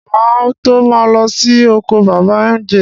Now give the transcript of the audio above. Má à tó ma lọ sí oko bàbá mj